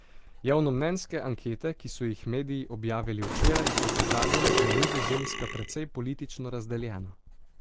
Javnomnenjske ankete, ki so jih mediji objavili včeraj, so pokazale, da je Nizozemska precej politično razdeljena.